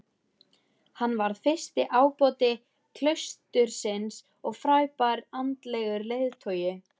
Hann varð fyrsti ábóti klaustursins og frábær andlegur leiðtogi.